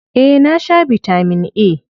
Eh, na sha bitamin A.